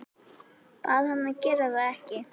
Bað hann að gera það ekki.